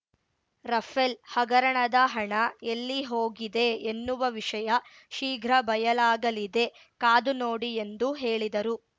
Rafale ಹಗರಣದ ಹಣ ಎಲ್ಲಿ ಹೋಗಿದೆ ಎನ್ನುವ ವಿಷಯ ಶೀಘ್ರ ಬಯಲಾಗಲಿದೆ ಕಾದುನೋಡಿ ಎಂದು ಹೇಳಿದರು